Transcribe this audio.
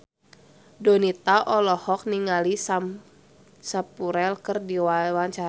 Donita olohok ningali Sam Spruell keur diwawancara